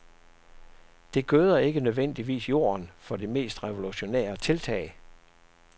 Det gøder ikke nødvendigvis jorden for de mest revolutionære tiltag.